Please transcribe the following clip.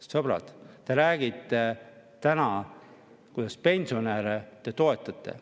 Sõbrad, te räägite täna, kuidas te pensionäre toetate.